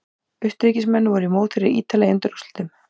Austurríkismenn voru mótherjar Ítala í undanúrslitum.